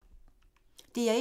DR1